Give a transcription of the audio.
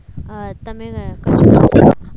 અમ તમે